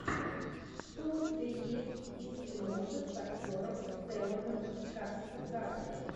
что у тебя есть из киношек с актером стелланом скарсгардом